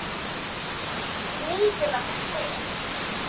Nýtileg spil.